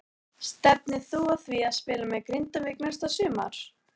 Stefnir þú að því að spila með Grindavík næsta sumar?